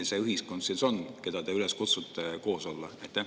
Mis ühiskond see siis on, keda te kutsute üles koos olema?